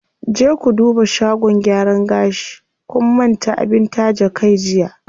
Je ku duba shagon gyaran gashi, kun manta abin taje kai jiya.